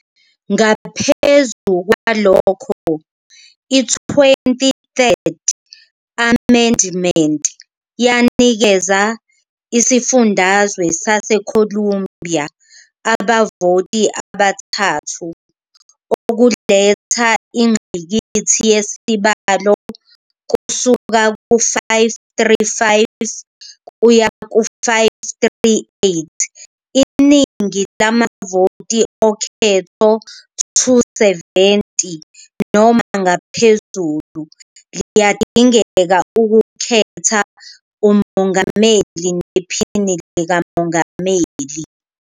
Ngaphezu kwalokho, i-Twenty-third Amendment yanikeza Isifundazwe saseColumbia abavoti abathathu, okuletha ingqikithi yesibalo kusuka ku-535 kuya ku-538. Iningi lamavoti okhetho, 270 noma ngaphezulu, liyadingeka ukukhetha umongameli nephini likamongameli.